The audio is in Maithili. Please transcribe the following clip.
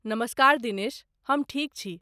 नमस्कार दिनेश! हम ठीक छी।